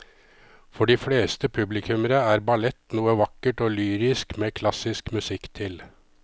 For de fleste publikummere er ballett noe vakkert og lyrisk med klassisk musikk til.